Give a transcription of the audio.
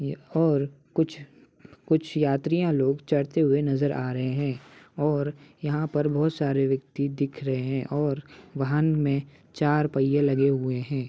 ये और कुछ कुछ यात्रिया लोग चढ़ते हुए नजर आ रहे हैं और यहां पर बहुत सारे व्यक्ति दिख रहे हैं और वाहन में चार पहिए लगे हुए हैं।